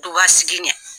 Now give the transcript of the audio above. Duba sigi ɲɛ